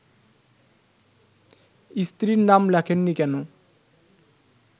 স্ত্রীর নাম লেখেননি কেন